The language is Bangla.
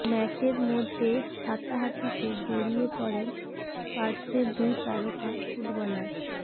ম্যাচের মধ্যে হাতাহাতিতে জড়িয়ে পড়েন স্পার্সের দুই তারকা ফুটবলার